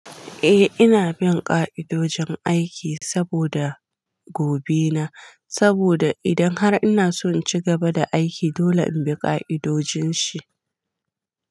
Eh ina bin ka'idojin aiki saboda gobe na, saboda idan har ina son cigaba da aiki dole in bi ka'idojin shi.